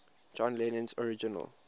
john lennon's original